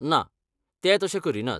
ना, ते तशें करीनात.